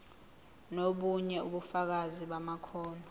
nobunye ubufakazi bamakhono